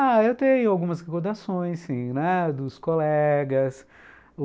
Ah, eu tenho algumas recordações, sim, né, dos colegas.